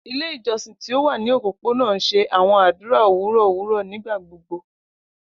Ile ijọsin ti o wa ni opopona n ṣe awọn adura owurọ owurọ nigbagbogbo.